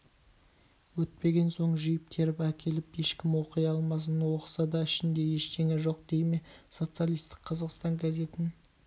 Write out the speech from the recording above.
өтпеген соң жиып-теріп әкеліп ешкім оқи алмасын оқыса да ішінде ештеңе жоқ дей ме социалистік қазақстан газетін